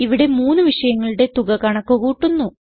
ഇവിടെ മൂന്ന് വിഷയങ്ങളുടെയും തുക കണക്ക് കൂട്ടുന്നു